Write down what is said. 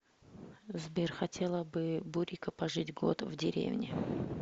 сбер хотела бы бурико пожить год в деревне